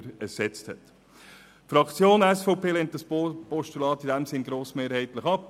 In diesem Sinn lehnt die SVP-Fraktion das Postulat grossmehrheitlich ab.